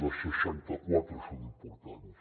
les seixanta quatre són importants